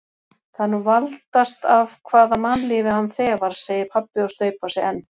Það er nú valdast af hvaða mannlífi hann þefar, segir pabbi og staupar sig enn.